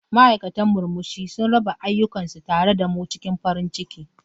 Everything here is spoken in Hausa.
Ma'aikatan murmushi sun raba ayyukansu tare da mu cikin farin ciki.